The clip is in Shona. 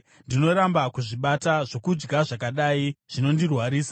Ndinoramba kuzvibata; zvokudya zvakadai zvinondirwarisa.